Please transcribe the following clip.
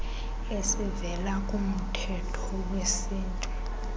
ezivela kumthetho wesintu